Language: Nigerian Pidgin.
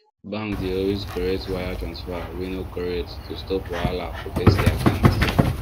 bank dey always correct wire transfer wey no correct to stop wahala for person account